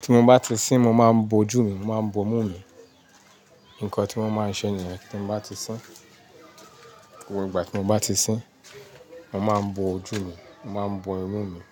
tí mo bá ti sín, mo máa ń bo ojú mi, mo máa ń bo imú mi. Nǹkan tí wọ́n máa ń ṣe nìyẹn tí mo bá ti sín. Gbogbo ìgbà tí mo bá ti sín, mo máa ń bo ojú mi, mo máa ń bo imú mi.